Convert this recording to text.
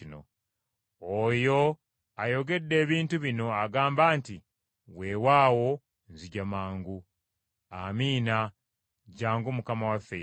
Oyo ayogedde ebintu bino agamba nti, “Weewaawo nzija mangu!” Amiina! Jjangu Mukama waffe Yesu!